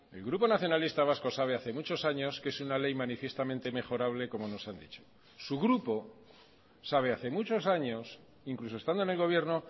el grupo nacionalista vasco sabe hace muchos años que es una ley manifiestamente mejorable como nos han dicho su grupo sabe hace muchos años incluso estando en el gobierno